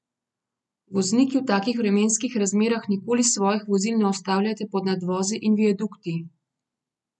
Vozniki, v takih vremenskih razmerah nikoli svojih vozil ne ustavljajte pod nadvozi in viadukti!